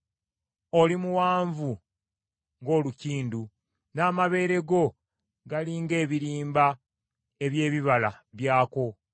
Oli muwanvu ng’olukindu, n’amabeere go gali ng’ebirimba eby’ebibala byakwo.